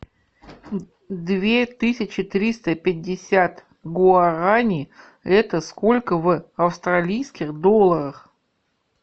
две тысячи триста пятьдесят гуарани это сколько в австралийских долларах